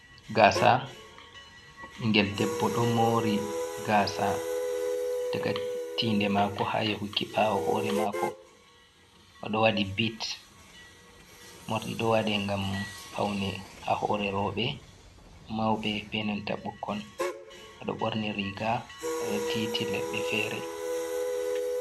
Gaasa ɓingel debbo ɗo moori gaasa, daga tinde maako haa yahuki ɓaawo hoore maako oɗo waɗi bit. Morɗi ɗo waɗe ngam paune haa hoore rooɓe mauɓe, be nanta ɓukkon. Oɗo ɓorni riga, oɗo titi leɗɗe feere.